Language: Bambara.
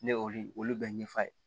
Ne y'olu olu bɛɛ ɲɛfɔ a ye